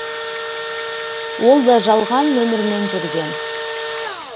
ол да жалған нөмірмен жүрген